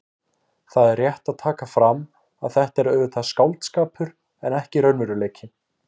Það er rétt að taka fram að þetta er auðvitað skáldskapur en ekki raunveruleiki.